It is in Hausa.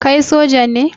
Kai soja ne?